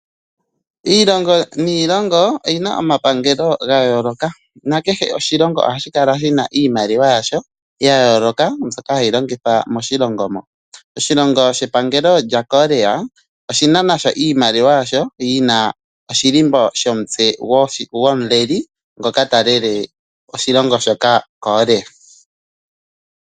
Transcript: Iilongo niilongo o yi na omapangelo gayooloka. Oshilongo kehe oha shi kala shi na iimaliwa yasho ya yooloka kwaambyoka ha yi longithwa miilongo yilwe. Epangelo lya Korea olyi na iimaliwa yi na oshilimbo shomutse gwomuleli ngoka te shi lele.